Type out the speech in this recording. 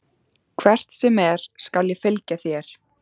Hvert sem er skal ég fylgja þér.